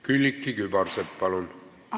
Külliki Kübarsepp, palun!